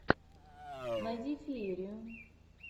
найди феерию